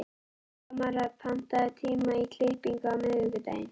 Tamara, pantaðu tíma í klippingu á miðvikudaginn.